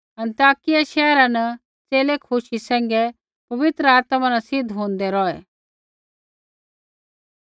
आन्तकिया शैहरा न च़ेले खुशी सैंघै पवित्र आत्मा न सिद्ध होंदै रौहै